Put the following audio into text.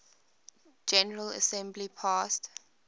general assembly passed